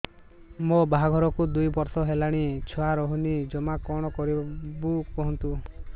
ମୋ ବାହାଘରକୁ ଦୁଇ ବର୍ଷ ହେଲାଣି ଛୁଆ ରହୁନି ଜମା କଣ କରିବୁ କୁହନ୍ତୁ